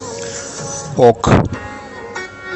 ок